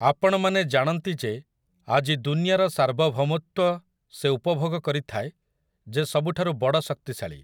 ଆପଣମାନେ ଜାଣନ୍ତି ଯେ ଆଜି ଦୁନିଆର ସାର୍ବଭୌମତ୍ୱ ସେ ଉପଭୋଗ କରିଥାଏ ଯେ ସବୁଠାରୁ ବଡ଼ ଶକ୍ତିଶାଳୀ ।